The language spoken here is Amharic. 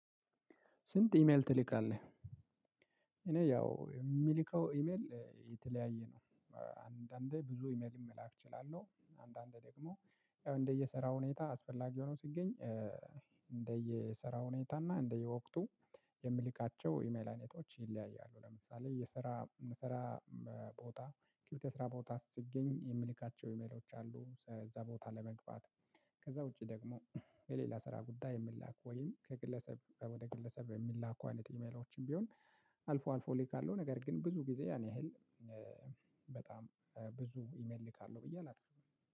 ስንት ኢሜል ትልካለህ አለ? እኔ ያው የሚልከው ኢሜል የተለያየ ነው። አንዳንዴ ብዙ ኢሜል መላክ እችላለሁ አንዳንዴ ደግሞ ያው እንደየሰራው ሁኔታ አስፈላጊ ሆኖ ሲገኝ። እንደየሰራ ሁኔታ እና እንደየወቅቱ የምልካቸው ኢሜል አይነቶች ይለያያሉ። ለምሳሌ የሰራ መሰራ ቦታ ኪዩቲ የሰራ ቦታ ስትገኝ የምልካቸው ኢሜሎች አሉ እዛ ቦታ ለመግባት። ከዛ ውጪ ደግሞ የሌላ ስራ ጉዳይ የምላክ ወይም ከግለሰብ ወደ ግለሰብ የሚላኩ አይነት ኢሜሎችም ቢሆን። አልፎ አልፎ ልክ አለው ነገር ግን ብዙ ጊዜ ያን ያህል በጣም ብዙ ኢሜል እልካለሁ ብዬ አላስብም።